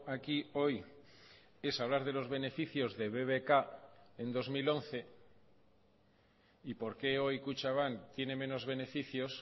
aquí hoy es hablar de los beneficios de bbk en dos mil once y por qué hoy kutxabank tiene menos beneficios